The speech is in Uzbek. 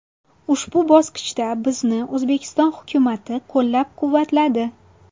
Ushbu bosqichda bizni O‘zbekiston hukumati qo‘llab-quvvatladi.